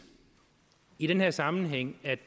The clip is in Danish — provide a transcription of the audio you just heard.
i den her sammenhæng at